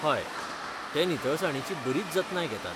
हय, ते निवळसाणीची बरीच जतनाय घेतात.